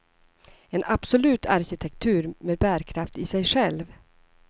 En absolut arkitektur med bärkraft i sig själv.